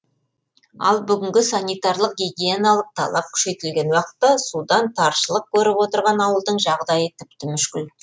ал бүгінгі санитарлық гигиеналық талап күшейтілген уақытта судан таршылық көріп отырған ауылдың жағдайы тіпті мүшкіл